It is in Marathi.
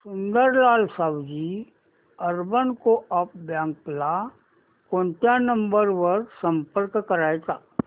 Sundarlal Sawji urban co-op bank ला कोणत्या नंबर वर संपर्क करायचा